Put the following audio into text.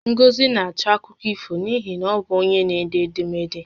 Ngozi na-achọ akụkọ ifo n'ihi na ọ bụ onye n'ede edemede